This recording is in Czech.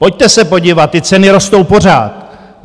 Pojďte se podívat, ty ceny rostou pořád.